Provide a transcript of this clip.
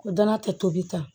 Ko danaya tɛ tobi tan